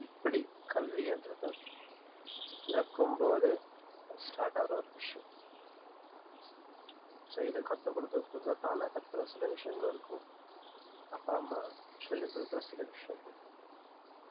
இப்படி கல்வின்றதை பிறக்கும் போதே start ஆகுற ஒரு விஷயம் so இது கத்துக் கொடுக்கிறதுக்குள்ள தானா கத்துக்கிற சில விஷயங்களும் இருக்கும் அப்பா அம்மா சொல்லிக் கொடுக்கிற சில விஷயங்களும் இருக்கும்